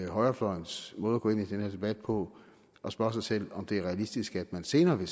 højrefløjens måde at gå ind i den her debat på og spørge sig selv om det er realistisk at der senere